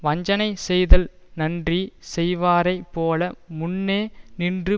வஞ்சனை செய்தல் நன்றி செய்வாரைப் போல முன்னே நின்று